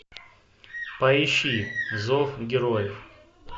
поищи зов героев